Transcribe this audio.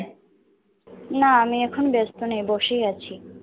না আমি এখন ব্যস্ত নেই, বসেই আছি।